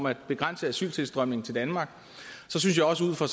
at begrænse asyltilstrømningen til danmark så synes jeg også ud fra